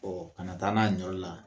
kana taa n'a ye ni yɔrɔ la